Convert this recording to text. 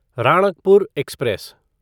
Ranakpur express